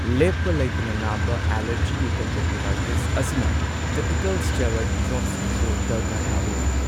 ꯂꯦꯞꯄ ꯂꯩꯇꯅ ꯅꯥꯕ ꯑꯦꯂꯔꯖꯤꯒꯤ ꯀꯟꯖꯪꯇꯤꯚꯥꯏꯇꯤꯁ ꯑꯁꯤꯅ ꯇꯥꯏꯄꯤꯀꯦꯜ ꯁ꯭ꯇꯦꯔꯣꯏꯗ ꯗ꯭ꯔꯣꯞꯁꯤꯡꯁꯨ ꯗꯔꯀꯥꯔ ꯇꯥꯕ ꯌꯥꯏ꯫